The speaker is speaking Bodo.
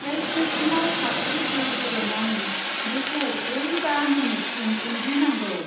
हेल्थ मेसिनआव कापसे दै होदेरनानै बेखौ ब्रै बा मिनिटसिम उनग्लिनांगौ।